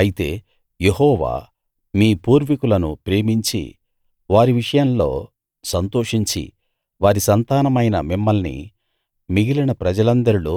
అయితే యెహోవా మీ పూర్వీకులను ప్రేమించి వారి విషయంలో సంతోషించి వారి సంతానమైన మిమ్మల్ని మిగిలిన ప్రజలందరిలో